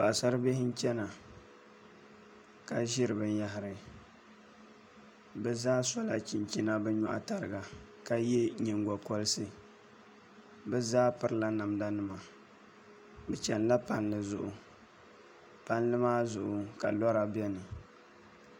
Paɣasari bihi n chɛna ka ʒiri binyahari bi zaa sola chinchina bi nyoɣu tariga ka yɛ nyingokoriti bi zaa pirila namda nima bi chɛnila palli zuɣu palli maa zuɣu ka lora biɛni